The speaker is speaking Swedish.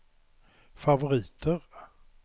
favoriter